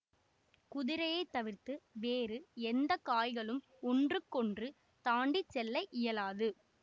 குதிரையை தவிர்த்து வேறு எந்த காய்களும் ஒன்றுக்கொன்று தாண்டி செல்ல இயலாது